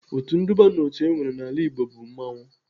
Otu nduba n'otu enwere n'ala Igbo bụ mmanwụ.